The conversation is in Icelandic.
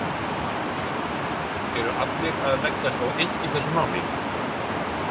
Fréttamaður: Eru allir að leggjast á eitt í þessu máli?